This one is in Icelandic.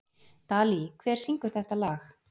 Dalí, hver syngur þetta lag?